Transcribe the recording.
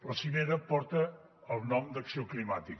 la cimera porta el nom d’acció climàtica